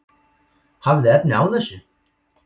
Hafið þið efni á þessu?